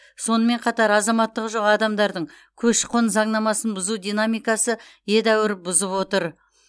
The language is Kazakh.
сонымен қатар азаматтығы жоқ адамдардың көші қон заңнамасын бұзу динамикасы едәуір бұзып отыр